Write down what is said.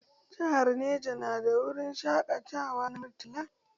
Jahar Neja nada wurin shaƙatawa na Murtala